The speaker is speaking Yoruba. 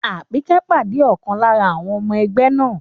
Àpínkẹ́ pàdé ọ̀kan lára àwọn ọmọ ẹgbẹ́ náà